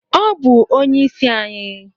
ọ bu onye-isi-ayi.